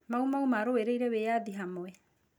Mau Mau marũĩrĩire wĩyathi hamwe.